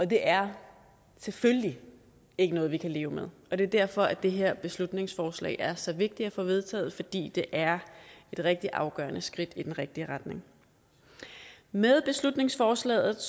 det er selvfølgelig ikke noget vi kan leve med og det er derfor at det her beslutningsforslag er så vigtigt at få vedtaget netop fordi det er et rigtig afgørende skridt i den rigtige retning med beslutningsforslaget